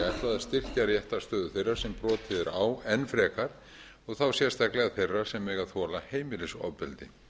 að styrkja réttarstöðu þeirra sem brotið er á enn frekar og þá sérstaklega þeirra sem mega þola heimilisofbeldi